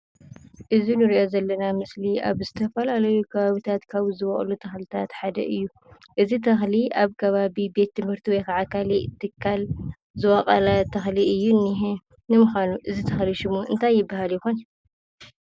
እዚ እንሪኦ ዘለና ምስሊ ኣብ ዝተፈላለዩ ከባቢታት ካብ ዝቦቕሉ ተኽልታት ሓደ እዩ። እዚ ተኽሊ ኣብ ከባቢ ቤት ትምህርቲ ወይ ክዓ ካሊእ ትካል ዝቦቐለ ተኽሊ እዩ እንሄ። ንምዃኑ እዚ ተኽሊ ሽሙ እንታይ ይብሃል ይኾን?